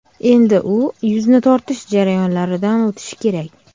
Endi u yuzni tortish jarayonlaridan o‘tishi kerak.